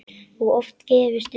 Og oft gefist upp.